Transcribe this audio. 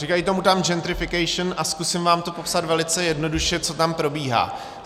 Říkají tomu tam gentrification a zkusím vám to popsat velice jednoduše, co tam probíhá.